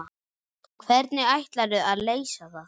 Hvernig ætlarðu að leysa það?